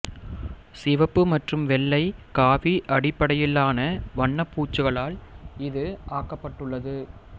சிவப்பு மற்றும் வெள்ளை காவி அடிப்படையிலான வண்ணப்பூச்சுகளால் இது ஆக்கப்பட்டுள்ளது